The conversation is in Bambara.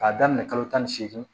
K'a daminɛ kalo tan ni seegin